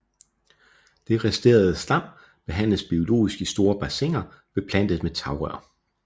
Det resterende slam behandles biologisk i store bassiner beplantet med tagrør